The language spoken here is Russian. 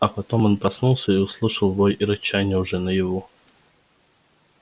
а потом он проснулся и услышал вой и рычание уже наяву